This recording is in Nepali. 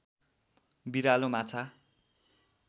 बिरालो माछा